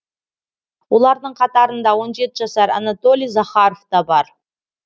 олардың қатарында он жеті жасар анатолий захаров та бар